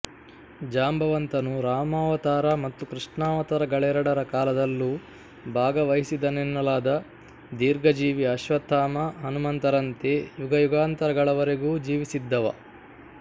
ಜಾಂಬವಂತನು ರಾಮಾವತಾರ ಮತ್ತು ಕೃಷ್ಣಾವತಾರಗಳೆರಡರ ಕಾಲದಲ್ಲೂ ಭಾಗವಹಿಸಿದನೆನ್ನಲಾದ ದೀರ್ಘಜೀವಿ ಅಶ್ವತ್ಥಾಮ ಹನುಮಂತರಂತೆ ಯುಗಯುಗಾಂತರಗಳವರೆಗೂ ಜೀವಿಸಿದ್ದವ